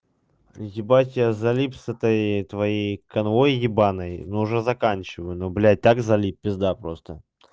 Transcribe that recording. ебать я залип с этой твоей канвой ебаной но уже заканчиваю но блядь так залип пизда просто